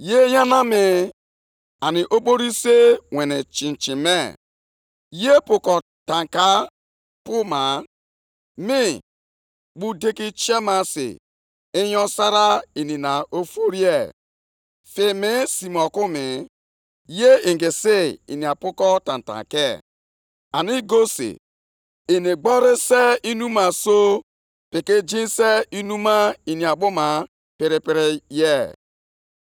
Nʼezie, mmanya + 2:5 Nʼakwụkwọ ụfọdụ ihe ị ga-ahụ bụ akụnụba. na-eduhie ya ụzọ, onye jupụtara na nganga, na-adịghị enwe ezumike. Ebe ọ bụ na o nwere anya ukwu dịka ala mmụọ, ọ gaghị enwekwa afọ ojuju dịka ọnwụ. Nʼihi na ọ na-achịkọta mba niile nye onwe ya, ọ na-adọtakwa ọtụtụ ndị mmadụ nʼagha.